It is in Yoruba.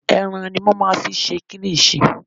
Ẹran ni wọ́n máa ń fi ń ṣe kílíṣì.